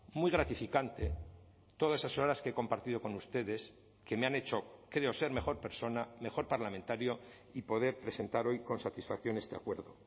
muy gratificante todas esas horas que he compartido con ustedes que me han hecho creo ser mejor persona mejor parlamentario y poder presentar hoy con satisfacción este acuerdo